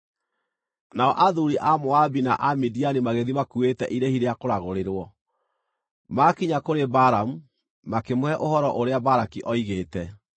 Nao athuuri a Moabi na a Midiani magĩthiĩ makuuĩte irĩhi rĩa kũragũrĩrwo. Maakinya kũrĩ Balamu, makĩmũhe ũhoro ũrĩa Balaki oigĩte.